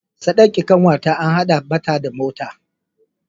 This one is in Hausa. Sadakin kanwata an hada mata da mota.